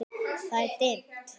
Það er dimmt.